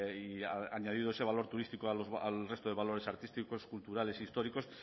y ha añadido ese valor turístico al resto de valores artísticos culturales históricos